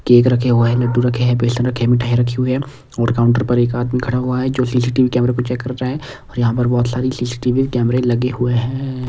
Cake रखे हुए हैं लड्डू रखे हैं बेसन रखे हैं मिठाई रखी हुई है और काउंटर पर एक आदमी खड़ा हुआ है जो सीसीटीवी कैमरे को चेक कर रहा है और यहां पर बहुत सारी सीसीटीवी कैमरे लगे हुए हैं।